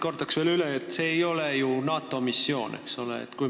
Kordan veel üle, et see ei ole ju NATO missioon.